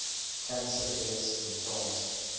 cancer deaths in france